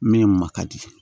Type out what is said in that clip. Min ma ka di